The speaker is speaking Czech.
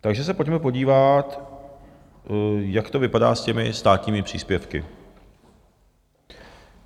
Takže se pojďme podívat, jak to vypadá s těmi státními příspěvky.